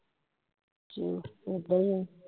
ਝੂਠ ਏਦਾਂ ਈ ਆ